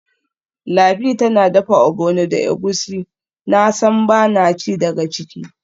Lami tana dafa ogbono da egusi, nasan bana ci daga ciki.